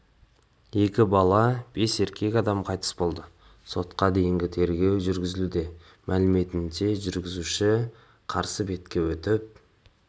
екі бала бес ересек адам қайтыс болды сотқа дейінгі тергеу жүргізілуде мәліметінше жүргізушісі қарсы бетке өтіп